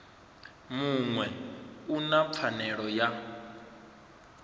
muṅwe u na pfanelo ya